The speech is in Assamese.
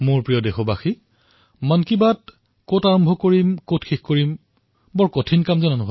মোৰ মৰমৰ দেশবাসীসকল মন কী বাত কত আৰম্ভ কৰিম কত বিৰতি লম এয়া এক কঠিন কাৰ্য